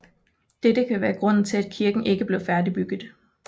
Dette kan være grunden til at kirken ikke blev færdigbygget